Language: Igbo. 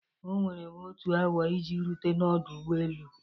Oweere m otu awa iji rute n'ọdụ ụgbọ elu.